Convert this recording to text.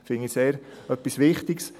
Das finde ich etwas sehr Wichtiges.